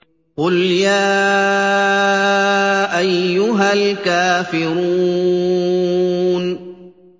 قُلْ يَا أَيُّهَا الْكَافِرُونَ